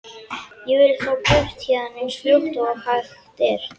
Ég vil þá burt héðan eins fljótt og hægt er.